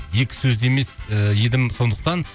екі сөзді емес і едім сондықтан